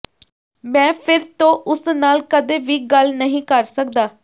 ਮੈਂ ਫਿਰ ਤੋਂ ਉਸ ਨਾਲ ਕਦੇ ਵੀ ਗੱਲ ਨਹੀਂ ਕਰ ਸਕਦਾ